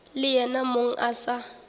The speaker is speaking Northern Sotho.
le yena mong a sa